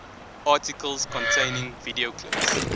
articles containing video clips